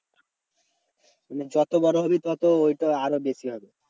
মানে যত বড় হবি তত ঐটা আরো বেশি হবে।